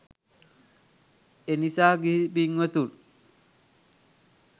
එනිසා ගිහි පින්වතුන්